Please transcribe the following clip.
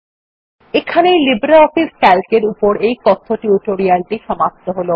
এখানেই LibreOffice C A L C এর এই কথ্য টিউটোরিয়াল টি সমাপ্ত হল